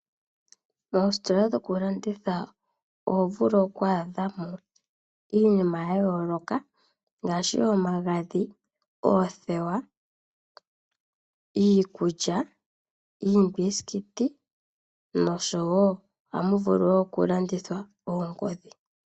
Moostola dhokulanditha oho vulu okwaadha mo iinima ya yooloka ngaashi omagadhi, oothewa, iikulya, iimbisikiti, nosho wo ohamu vulu wo okulandithwa oongodhi.